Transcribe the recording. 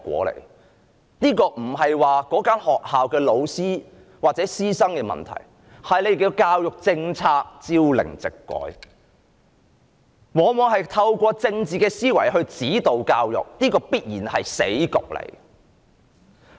問題並非出於該學校的教師或學生，而是政府的教育政策朝令夕改，往往透過政治思維指導教育，這必然是死局。